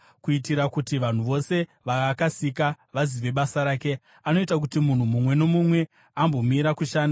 Kuitira kuti vanhu vose vaakasika vazive basa rake, anoita kuti munhu mumwe nomumwe ambomira kushanda.